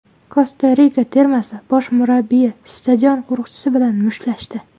Kosta-Rika termasi bosh murabbiyi stadion qo‘riqchisi bilan mushtlashdi.